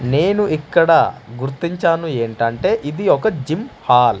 నేను ఇక్కడ గుర్తించాను ఏంటంటే ఇది ఒక జిమ్ హాల్ .